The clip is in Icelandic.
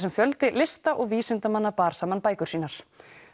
em fjöldi lista og vísindamanna bar saman bækur sínar